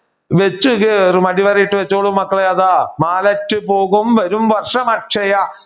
വെച്ചുകേറും അടിവരയിട്ട് വെച്ചോളൂ മക്കളെ. അതാ മാലറ്റു പോകും വരും വർഷ അക്ഷയ